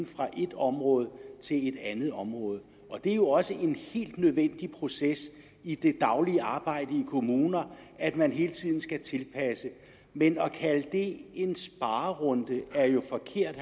fra et område til et andet område det er jo også en helt nødvendig proces i det daglige arbejde i kommunerne at man hele tiden skal tilpasse men at kalde det en sparerunde er jo forkert